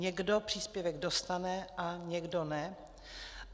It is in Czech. Někdo příspěvek dostane a někdo ne.